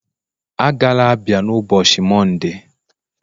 Agala Abia n'ụbọchị Mọnde!.